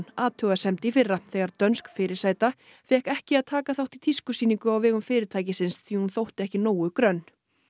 athugasemd í fyrra þegar dönsk fyrirsæta fékk ekki að taka þátt í tískusýningu á vegum fyrirtækisins því hún þótti ekki nógu grönn